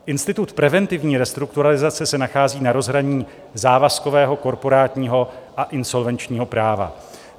Institut preventivní restrukturalizace se nachází na rozhraní závazkového, korporátního a insolvenčního práva.